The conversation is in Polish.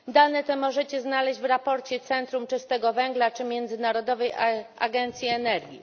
Dane te można znaleźć w raporcie Centrum Czystego Węgla czy Międzynarodowej Agencji Energii.